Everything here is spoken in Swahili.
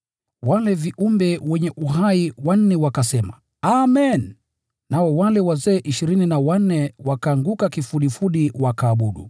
Wale viumbe wenye uhai wanne wakasema, “Amen!” Nao wale wazee ishirini na wanne wakaanguka kifudifudi wakaabudu.